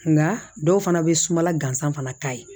Nka dɔw fana bɛ sumala gansan fana k'a ye